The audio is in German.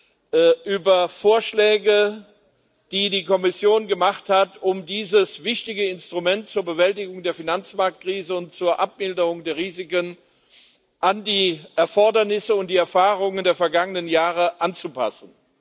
Verordnung, über Vorschläge, die die Kommission gemacht hat, um dieses wichtige Instrument zur Bewältigung der Finanzmarktkrise und zur Abmilderung der Risiken an die Erfordernisse und die Erfahrungen der vergangenen Jahre anzupassen.